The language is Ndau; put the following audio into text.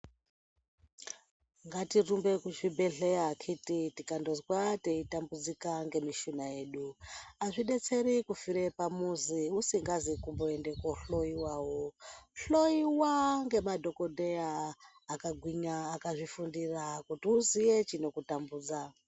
Ngatirumbe kuzvibhedheya titi yikandozwa teitambudzika ngemushuna yeduazvidetseri kufire pamuzi usingazi kumboende kohloyiwawo hloyiwa ngemadhokodhera akagwinya akazvifunfira kuti uziye chinokutambudza.